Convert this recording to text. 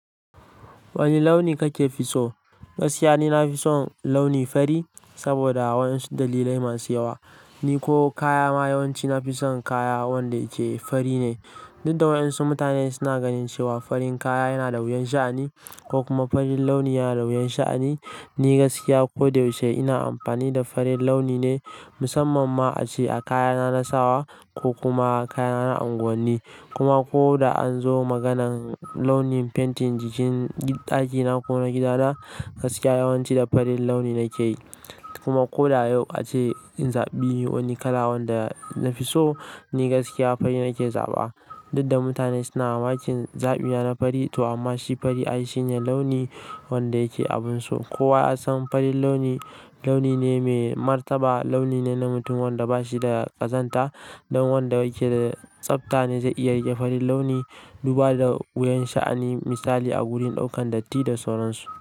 Wani launi kake fi so? Gaskiya ne, na fi son launi fari saboda wasu dalilai masu yawa. Ni ko kaya ma yawanci nafi son kaya wanda yake fari ne. Duk da wasu mutane suna ganin cewa farin kaya yana da wuyan sha'ani ko kuma farin launi yana da wuyan sha'ani, ni gaskiya ko da yaushe ina amfani da farin launi ne musamman ma ace kayana na sawa ko kuma kayana na unguwanni. Kuma ko da an zo maganar launin fentin jikin ɗakina ko na gidana, gaskiya yawanci da farin launi nake yi. Kuma ko da yau ace in zaɓi wani kala wanda na fi so, ni gaskiya fari ne ke zaɓa. Duk da mutane suna makin zaɓuwa na fari to amma shi fari an yi shine launi wanda yake abun so. Kowa ya san farin launi launi ne mai martaba, launi ne na mutum wanda bashi da ƙazanta dan wanda yake da tsafta ne zai iya riƙe farin launi duba da wuyan sha'ani misali a wurin ɗaukan datti da sauran su.